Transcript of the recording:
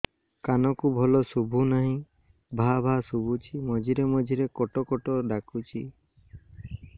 କାନକୁ ଭଲ ଶୁଭୁ ନାହିଁ ଭାଆ ଭାଆ ଶୁଭୁଚି ମଝିରେ ମଝିରେ କଟ କଟ ଡାକୁଚି